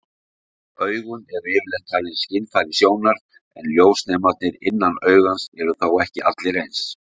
Augun eru yfirleitt talin skynfæri sjónar, en ljósnemarnir innan augans eru þó ekki allir eins.